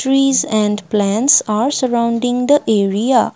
trees and plants are surrounding the area.